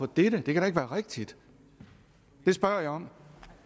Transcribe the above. dette det kan da ikke være rigtigt det spørger jeg om